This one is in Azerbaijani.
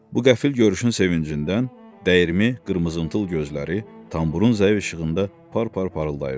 Bu qəfil görüşün sevincindən dəyirmi, qırmızıntıl gözləri tamburun zəif işığında par-par parıldayırdı.